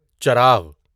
چراغ